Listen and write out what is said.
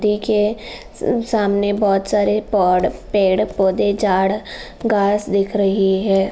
देखिए स् सामने बोहोत सारे पॉड पेड़ पौधे झाड़ घास दिख रही हैं।